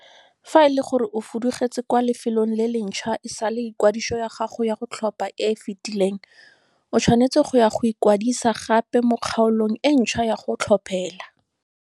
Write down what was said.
Fa ele gore o fudugetse kwa lefelong le le ntšhwa e sale ikwadiso ya gago ya go tlhopha e e fetileng, o tshwanetse go ya go ikwadisa gape mo kgaolong e ntšhwa ya go tlhophela.